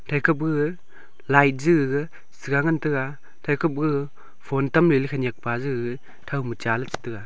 eke pe gaga light che gaga chiga ngan tega thaike pa gaga phone tamle khenek peje gaga thow ma cha le chi taiga.